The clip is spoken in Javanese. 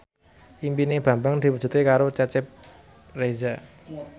impine Bambang diwujudke karo Cecep Reza